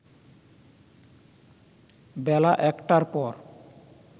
বেলা ১টার পর